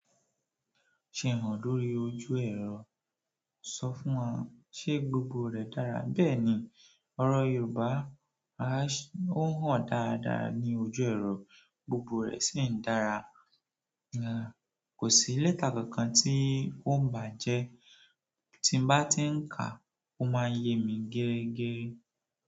Ṣe òhún dúró ojú ẹ̀rọ sọ fún ọ, ṣé gbogbo rè dára bẹ́ẹ̀ni ọ̀rọ̀ Yorùbá á ṣé ó hán dáadáa ní ojú ẹ̀rọ, gbogbo rè sì ń dára. Kò sí lẹ́tà kankan tí oó ń bà á jẹ́, tí n bá tí ń kà á, ó máa ń yé mi gérégéré.